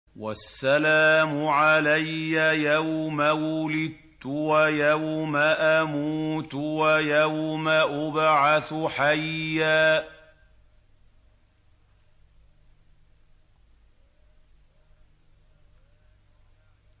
وَالسَّلَامُ عَلَيَّ يَوْمَ وُلِدتُّ وَيَوْمَ أَمُوتُ وَيَوْمَ أُبْعَثُ حَيًّا